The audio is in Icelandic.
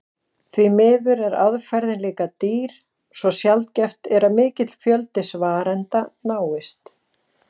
Því miður er aðferðin líka dýr svo sjaldgæft er að mikill fjöldi svarenda náist.